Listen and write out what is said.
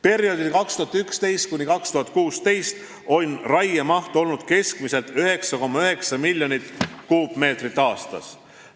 Perioodil 2011–2016 oli raiemaht keskmiselt 9,9 miljonit tihumeetrit aastas.